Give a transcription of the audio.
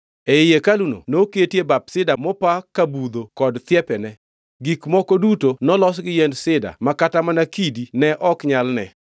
Ei hekaluno noketie bap sida mopa ka budho kod thiepene. Gik moko duto nolos gi yiend sida ma kata mana kidi ne ok nyal ne.